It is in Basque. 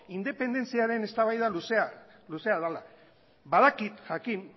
independentziaren eztabaida luzea dela badakit jakin